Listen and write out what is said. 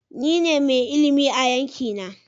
Ni ne mai ilimi a yanki na.